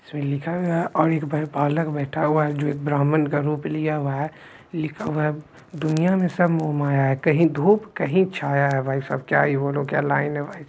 जो एक ब्राह्मण का रूप लिया हुआ है लिखा हुआ है दुनिया में सब मोह माया है कहीं धूप कहीं छाया है भाई साहब क्या ही बोलू क्या लाइन है भाई साहब ।